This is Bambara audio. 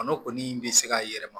Kɔnɔ kɔni bɛ se ka yɛlɛma